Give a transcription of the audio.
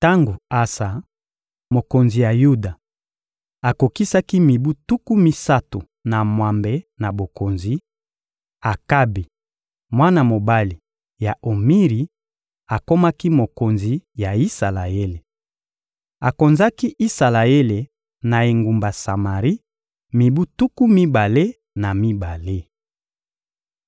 Tango Asa, mokonzi ya Yuda, akokisaki mibu tuku misato na mwambe na bokonzi, Akabi, mwana mobali ya Omiri, akomaki mokonzi ya Isalaele. Akonzaki Isalaele na engumba Samari mibu tuku mibale na mibale.